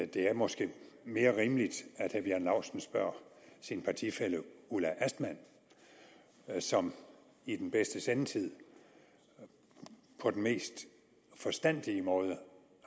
det måske er mere rimeligt at herre bjarne laustsen spørger sin partifælle ulla astman som i den bedste sendetid på den mest forstandige måde